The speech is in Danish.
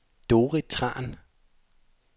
Dorrit Tran